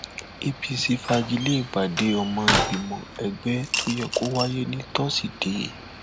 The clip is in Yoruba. apc fagi lé ìpàdé ọmọ ìgbìmọ ẹgbẹ tó yẹ kó wáyé ní tosidee